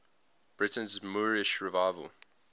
britain's moorish revival